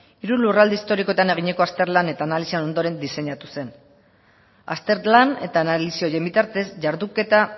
hiru lurralde historikoetan eginiko azterlan eta analisien ondoren diseinatu zen azterlan eta analisi horien bitartez jarduketa